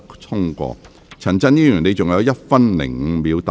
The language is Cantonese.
陳振英議員，你還有1分5秒答辯。